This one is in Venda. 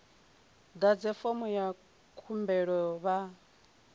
ḓadze fomo ya khumbelo vha